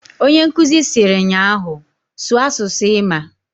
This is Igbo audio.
Onyenkuzi siri nnyaahu "Sụọ asụsụ ịmaǃ"